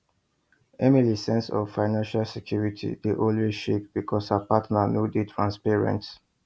emilys sense of financial security dey always shake because her partner no dey transparent